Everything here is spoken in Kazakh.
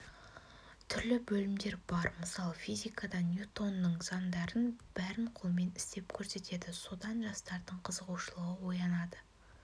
түрлі бөлімдер бар мысалы физикадан ньютонның заңдарын бәрін қолмен істеп көрсетеді содан жастардың қызығушылығы оянады